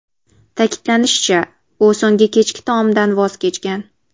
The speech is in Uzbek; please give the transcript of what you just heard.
Ta’kidlanishicha, u so‘nggi kechki taomdan voz kechgan.